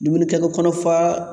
Dumunikɛtɔ kɔnɔ fa